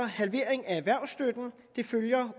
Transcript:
halvering af erhvervsstøtten det følger